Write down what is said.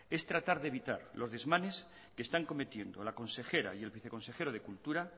es tratar de evitar los desmanes que están cometiendo la consejera y el viceconsejero de cultura